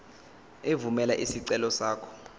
evumela isicelo sakho